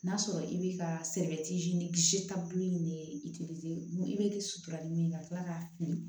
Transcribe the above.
N'a sɔrɔ i bɛ ka sebɛrɛti ni ni i bɛ sutura ni min ye ka tila k'a fili